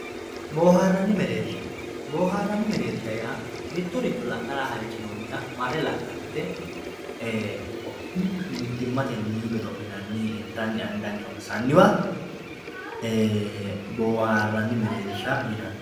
boohaarranni mereersha boohaarranni mereersha yaa mittorichu la'nara halchinoonniha marre la'nannite mittimatenni godo'linanni intanni anganni honsanniwa boohaarranni mereersha yinanni.